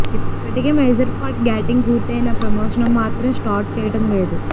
ఇప్పటికే major part shooting పూర్తయినా promotion మాత్రం స్టార్ట్ చేయటం లేదు